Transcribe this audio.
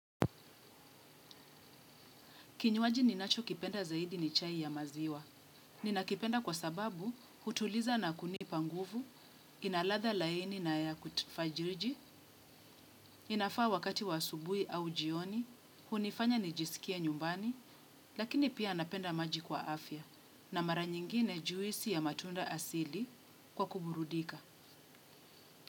Kinyuaji ninacho kipenda zaidi ni chai ya maziwa. Ninakipenda kwa sababu hutuliza na kunipa nguvu, ina ladha laini na ya kutufariji, inafaa wakati wa asubuhi au jioni, hunifanya nijisikie nyumbani, lakini pia napenda maji kwa afya na mara nyingine juisi ya matunda asili kwa kuburudika.